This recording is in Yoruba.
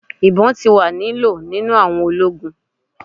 Ibon ti wa ni lo ninu awọn ologun